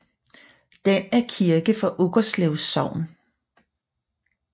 Den er kirke for Uggerslev Sogn